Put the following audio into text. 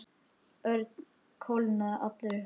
Örn kólnaði allur upp.